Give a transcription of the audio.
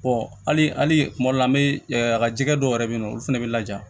hali kuma dɔ la an bɛ a ka jɛgɛ dɔw yɛrɛ bɛ yen nɔ olu fana bɛ laja